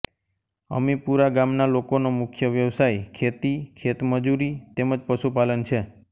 અમીપુરા ગામના લોકોનો મુખ્ય વ્યવસાય ખેતી ખેતમજૂરી તેમ જ પશુપાલન છે